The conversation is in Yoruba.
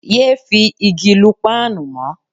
Yé fi igi lu páànù mọ́.